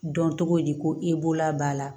Dɔn cogo di ko e bolola b'a la